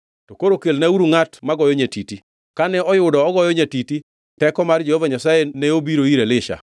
To koro kelnauru ngʼat magoyo nyatiti.” Kane oyudo ogoyo nyatiti teko mar Jehova Nyasaye ne obiro ir Elisha,